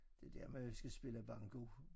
Det der man jo skal spille banko